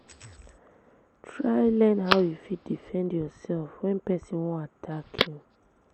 Try learn how you fit defend yourself when persin won attack you